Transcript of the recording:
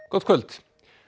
gott kvöld